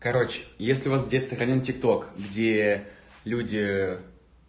короче если у вас где-то сохранён тик ток где люди